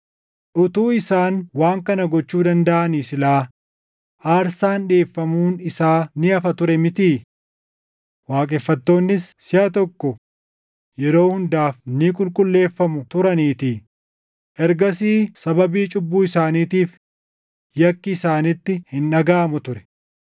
Utuu isaan waan kana gochuu dandaʼanii silaa aarsaan dhiʼeeffamuun isaa ni hafa ture mitii? Waaqeffattoonnis siʼa tokko yeroo hundaaf ni qulqulleeffamu turaniitii; ergasii sababii cubbuu isaaniitiif yakki isaanitti hin dhagaʼamu ture.